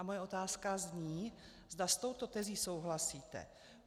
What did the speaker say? A moje otázka zní, zda s touto tezí souhlasíte.